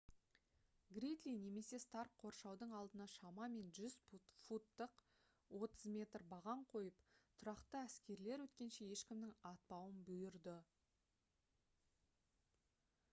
гридли немесе старк қоршаудың алдына шамамен 100 футтық 30 м баған қойып тұрақты әскерлер өткенше ешкімнің атпауын бұйырды